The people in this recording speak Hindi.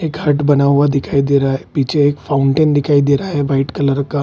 एक हट बना हुआ दिखाई दे रहा है पीछे एक फाउंटेन दिखाई दे रहा है व्हाइट कलर का |